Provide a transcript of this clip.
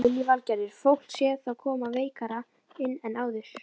Lillý Valgerður: Fólk sé þá koma veikara inn en áður?